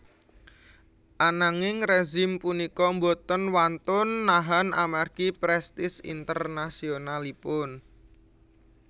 Ananging rezim punika boten wantun nahan amargi prestise internasionalipun